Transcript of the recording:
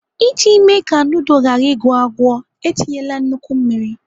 Iji mee ka nudul ghara ịgwọ agwọ, etinyela nnukwu mmiri.